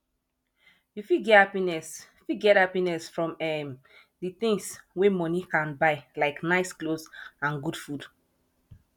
you fit get happiness fit get happiness from um di things wey money can buy like nice clothes and good food